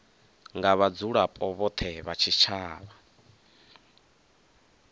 nga vhadzulapo vhothe vha tshitshavha